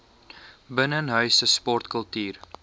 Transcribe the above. binnenshuise sport kultuur